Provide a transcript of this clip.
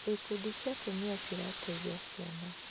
Ikundi cia atumia cirateithia ciana.